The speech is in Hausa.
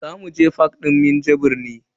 Zamu je fak din Minjibir ne.